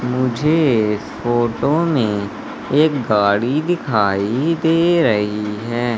मुझे फोटो में एक गाड़ी दिखाई दे रही है।